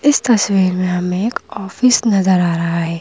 इस तस्वीर में हमें एक ऑफिस नज़र आ रहा है।